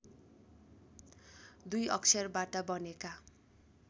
दुई अक्षरबाट बनेका